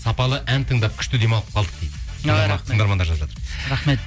сапалы ән тыңдап күшті демалып қалдық дейді ой рахмет тыңдармандар жазып жатыр рахмет